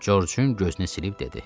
Corcun gözünü silib dedi: